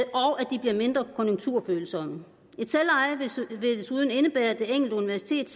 de bliver mindre konjunkturfølsomme selveje vil desuden indebære at det enkelte universitet